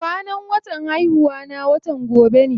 Kwanan watan haihuwana watan gobe ne.